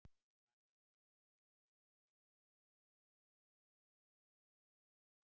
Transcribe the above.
Smælaðu framan í heiminn, vinur, bráðum kemur heimurinn og smælar framan í þig.